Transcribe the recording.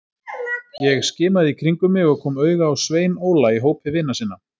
Ég skimaði í kringum mig og kom auga á Svein Óla í hópi vina sinna.